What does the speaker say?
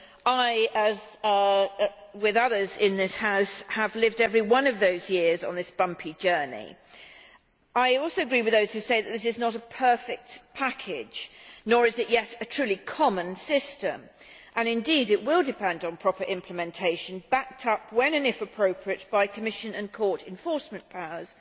I, together with others in this House, have lived every one of those years on this bumpy journey. I also agree with those who say that this is not a perfect package, nor is it yet a truly common system. It will depend on proper implementation, backed up if and when appropriate by the Commission and Court enforcement powers.